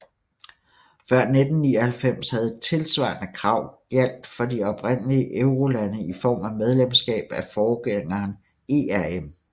Før 1999 havde et tilsvarende krav gjaldt for de oprindelige eurolande i form af medlemskab af forgængeren ERM